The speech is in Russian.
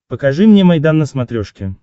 покажи мне майдан на смотрешке